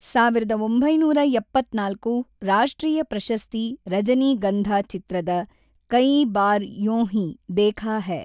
ಸಾವಿರದ ಒಂಬೈನೂರ ಎಪ್ಪತ್ತ್ನಾಲ್ಕು ರಾಷ್ಟ್ರೀಯ ಪ್ರಶಸ್ತಿ ರಜನೀಗಂಧ ಚಿತ್ರದ ಕಯಿ ಬಾರ್ ಯೊಂಹಿ ದೇಖಾ ಹೈ.